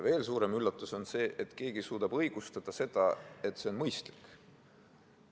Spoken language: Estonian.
Veel suurem üllatus oli see, et keegi suudab õigustada, et see on mõistlik.